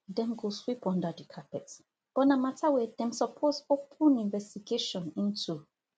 dem go sweep under di carpet but na mata wey dem suppose open investigation into